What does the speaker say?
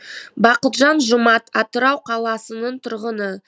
бақытжан жұмат атырау қаласының тұрғыны